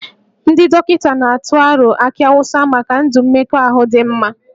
Ndị dọkịta na-atụ aro akị awụsa maka ndụ mmekọahụ dị mma